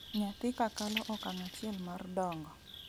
Nyathi kakalo okang' achiel mar dongo.